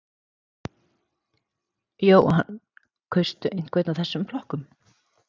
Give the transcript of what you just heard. Jóhann: Kaustu einhvern af þessum flokkum?